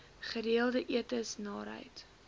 gereelde etes naarheid